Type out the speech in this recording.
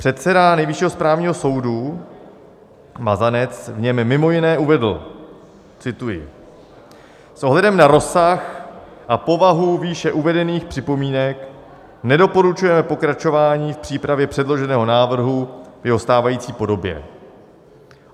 Předseda Nejvyššího správního soudu Mazanec v něm mimo jiné uvedl - cituji: "S ohledem na rozsah a povahu výše uvedených připomínek nedoporučujeme pokračování v přípravě předloženého návrhu v jeho stávající podobě."